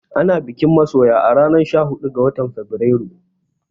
Ana bikin masoya a ranar sha huɗu ga watan Fabrairu